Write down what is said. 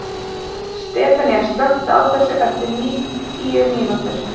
Stefanía, slökktu á þessu eftir níutíu mínútur.